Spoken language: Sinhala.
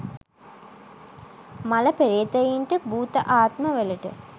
මළ පෙරේතයින්ට භුත ආත්මවලට